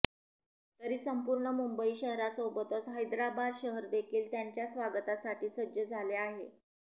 तरी संपूर्ण मुंबई शहरासोबतच हैदराबाद शहर देखील त्यांच्या स्वागतासाठी सज्ज झाले आहे